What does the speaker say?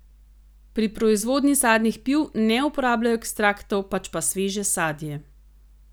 Pri proizvodnji sadnih piv ne uporabljajo ekstraktov, pač pa sveže sadje.